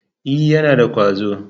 E, yana da ƙwazo.